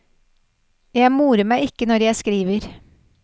Jeg morer meg ikke når jeg skriver.